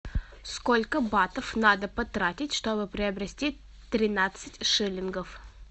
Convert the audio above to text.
сколько батов надо потратить чтобы приобрести тринадцать шиллингов